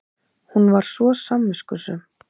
Hún var svo samviskusöm.